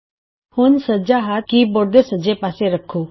ਹੁਣ ਆਪਣਾ ਸੱਜਾ ਹੱਥ ਕੀ ਬੋਰਡ ਦੇ ਸੱਜੇ ਪਾਸੇ ਰੱਖੋ